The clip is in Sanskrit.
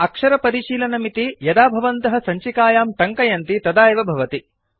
अक्षरपरिशीलनमिति यदा भवन्तः सञ्चिकायां टङ्कयन्ति तदा एव भवति